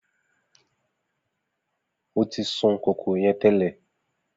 Mo tí sun kòkòrò yẹn tẹ́lẹ̀